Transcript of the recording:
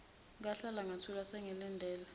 ngahlala ngathula sengilindele